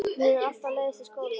Mér hefur alltaf leiðst í skóla.